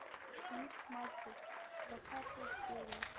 мисс марпл двадцатая серия